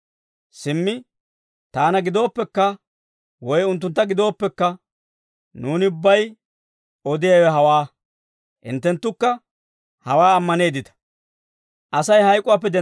Simmi taana gidooppekka, woy unttuntta gidooppekka, nuuni ubbay odiyaawe hawaa; hinttenttukka hawaa ammaneeddita.